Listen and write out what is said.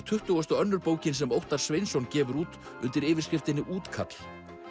tuttugasta og önnur bókin sem Óttar Sveinsson gefur út undir yfirskriftinni útkall